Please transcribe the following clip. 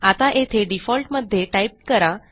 आता येथे डिफॉल्टमध्ये टाईप करा